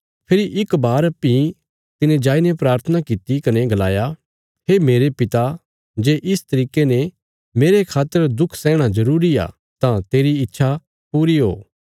फेरी इक बार भीं तिने जाईने प्राथना कित्ती कने गलाया हे मेरे पिता जे इस तरिके ने मेरे खातर दुख सैहणा जरूरी आ तां तेरी इच्छा पूरी ओ